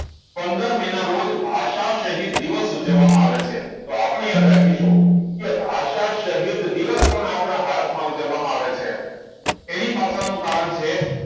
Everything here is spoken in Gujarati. પંદર મેં ના રોજ ભાષા શહીદ દિવસ ઉજવવામાં આવે છે તો આપણે યાદ રાખીશુ કે ભાષા શહીદ દિવસ પણ આપણા ભારત માં ઉજવવામાં આવે છે એની પાછળ નું કારણ છે